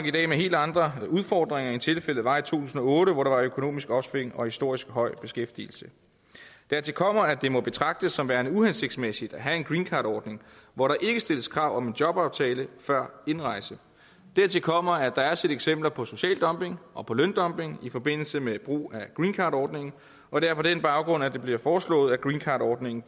i dag med helt andre udfordringer end tilfældet var i to tusind og otte hvor der var økonomisk opsving og historisk høj beskæftigelse dertil kommer at det må betragtes som værende uhensigtsmæssigt at have en greencardordning hvor der ikke stilles krav om en jobaftale før indrejse dertil kommer at der er set eksempler på social dumping og på løndumping i forbindelse med brug af greencardordningen og det er på den baggrund at det bliver foreslået at greencardordningen